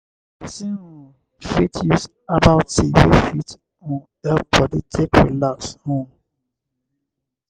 person um fit use herbal tea wey fit um help body take relax um